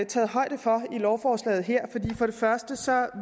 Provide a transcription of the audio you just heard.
taget højde for her i lovforslaget først